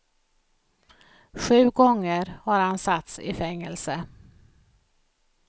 Sju gånger har han satts i fängelse.